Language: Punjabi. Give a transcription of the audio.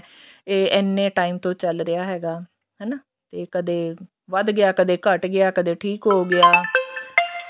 ਇਹ ਇੰਨੇ time ਤੋਂ ਚੱਲ ਰਿਹਾ ਹੈਗਾ ਹਨਾ ਤੇ ਕਦੇ ਵੱਧ ਗਿਆ ਕਦੇ ਘੱਟ ਗਿਆ ਕਦੇ ਠੀਕ ਹੋ ਗਿਆ